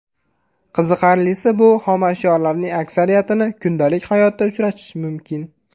Qiziqarlisi, bu xomashyolarning aksariyatini kundalik hayotda uchratish mumkin.